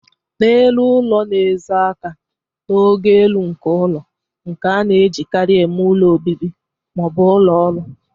N'elu ụlọ na-ezo aka n'ogo elu nke ụlọ, nke a na-ejikarị eme ụlọ obibi ma ọ bụ ụlọ ọrụ.